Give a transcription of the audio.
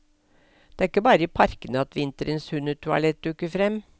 Det er ikke bare i parkene at vinterens hundetoalett dukker frem.